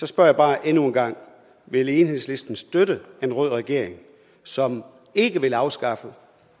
spørger jeg bare endnu en gang vil enhedslisten støtte en rød regering som ikke vil afskaffe